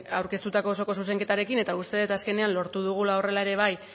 aurkeztutako osoko zuzenketarekin eta uste dut azkenean lortu dugula horrela ere bai